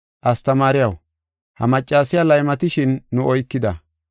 “Astamaariyaw, ha maccasiya laymatishin nu oykida.